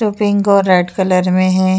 जो पिंक और red colour में है।